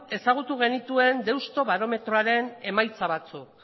ezagutu genituen deusto barometroaren emaitza batzuk